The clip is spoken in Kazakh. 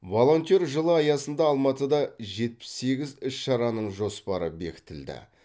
волонтер жылы аясында алматыда жетпіс сегіз іс шараның жоспары бекітілді